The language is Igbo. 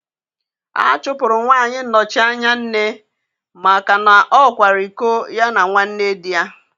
A chụpụrụ nwanyị nnochi anya nne maka na ọ kwara iko ya na nwanne di ya